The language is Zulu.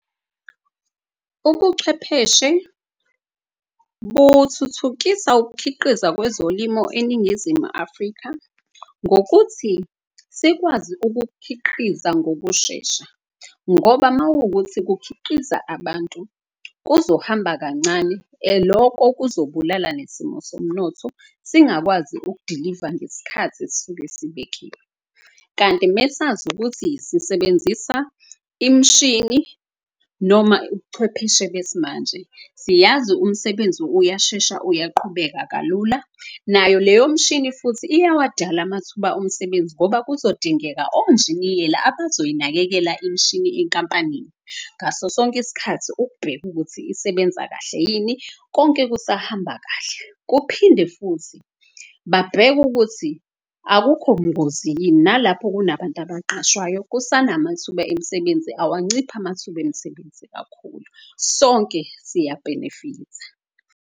Ubuchwepheshe buthuthukisa ukukhiqiza kwezolimo eNingizimu Afrika ngokuthi sikwazi ukukhiqiza ngokushesha. Ngoba mawukuthi kukhiqiza abantu kuzohamba kancane loko kuzobulala nesimo somnotho. Singakwazi ukudiliva ngeskhathi esuke sibekiwe kanti mesazi ukuthi sisebenzisa imshini. Noma ubuchwepheshe besimanje siyazi umsebenzi uyashesha uyaqhubeka kalula. Nayo leyo mshini futhi iyawadala amathuba omsebenzi ngoba kuzodingeka onjiniyela. Abazoyinakekela imshini inkampanini ngaso sonke isikhathi ukubheka ukuthi isebenza kahle yini, konke kusahamba kahle. Kuphinde futhi babheke ukuthi akukho bungozi yini nalapho kunabantu abaqashwayo. Kusanamathuba emisebenzi, awunciphi amathuba emisebenzi kakhulu. Sonke siyabhenefitha.